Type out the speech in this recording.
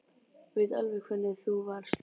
Ég veit alveg hvernig þú varst.